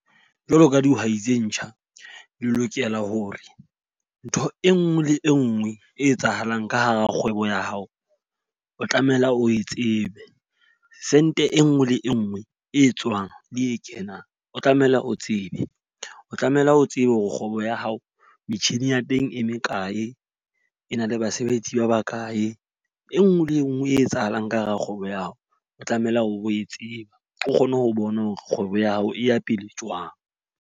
Jwalo ka dihwai tse ntjha, le lokela hore ntho e nngwe le e nngwe e etsahalang ka hara kgwebo ya hao o tlamehile o e tsebe. Cent e nngwe le e nngwe e tswang le e kenang, o tlamehile o tsebe. O tlamehile o tsebe hore kgwebo ya hao metjhini ya teng e me kae, e na le basebetsi ba ba kae. E nngwe le enngwe e etsahalang ka hara kgwebo ya hao o tlamehile o e tseba. O kgone ho bona hore kgwebo ya hao e ya pele jwang.